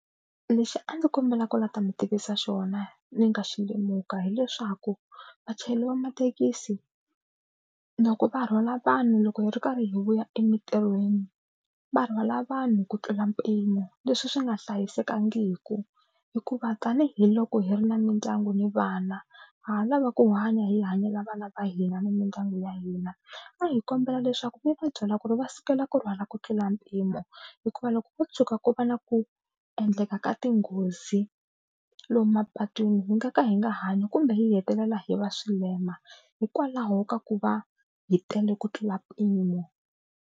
Lexi a ndzi kombela ku la ta mi tivisa xona ni nga xi lemuka, hileswaku vachayeri va mathekisi loko va rhwala vanhu loko hi ri karhi hi vuya emintirhweni va rhwala vanhu ku tlula mpimo leswi swi nga hlayisekangiki hikuva tanihiloko hi ri na mindyangu ni vana ha ha lava ku hanya hi hanyela vana va hina ni mindyangu ya hina. A hi kombela leswaku mi va byela ku ri va sukela ku rhwala ku tlula mpimo hikuva loko ko tshuka ko va na ku endleka ka tinghozi lomu mapatwini hi nga ka hi nga hanya kumbe hi hetelela hi va swilema hikwalaho ka ku va hi tele ku tlula mpimo.